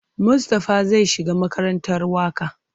Mustapha zai shiga makarantar waƙa.